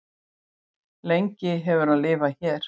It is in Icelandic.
lengi hefur hann lifað hér